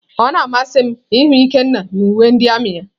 Ọ na-amasị m ịhụ Ikenna na uwe ndị armiị ya.